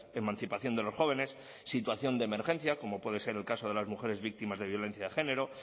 emancipación de los jóvenes situación de emergencia como puede ser el caso de las mujeres víctimas de violencia de género